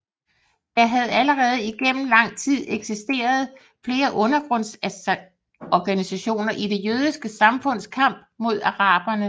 Der havde allerede igennem lang tid eksisteret flere undergrundsorganisationer i det jødiske samfunds kamp mod araberne